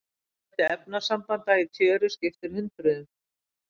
Fjöldi efnasambanda í tjöru skiptir hundruðum.